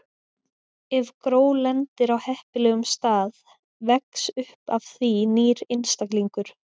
Ef gró lendir á heppilegum stað vex upp af því nýr einstaklingur.